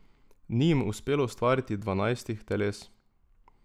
Ni jim uspelo ustvariti dvanajstih teles.